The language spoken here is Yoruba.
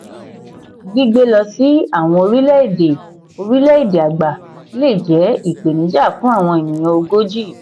gbígbé lọ sí àwọn orílẹ̀-èdè orílẹ̀-èdè àgbà lè jẹ́ ìpèníjà fún àwọn ènìyàn ogójì.